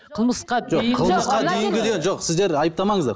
қылмысқа дейінгі жоқ сіздер айыптамаңыздар